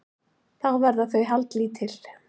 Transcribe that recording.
Þá verða þau haldlítil